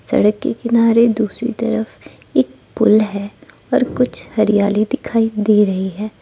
सड़क के किनारे दूसरी तरफ एक पुल है और कुछ हरियाली दिखाई दे रही है।